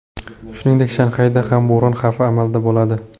Shuningdek, Shanxayda ham bo‘ron xavfi amalda bo‘ladi.